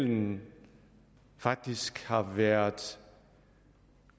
den faktisk har været